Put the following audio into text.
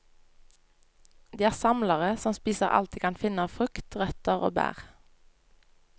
De er samlere som spiser alt de kan finne av frukt, røtter og bær.